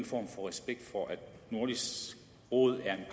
form for respekt for at nordisk råd er en